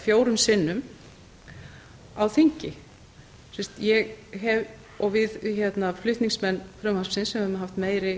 fjórum sinnum á þingi við flutningsmenn frumvarpsins höfum haft meiri